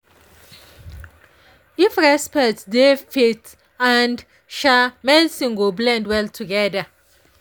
if respect dey faith and um medicine go blend well together.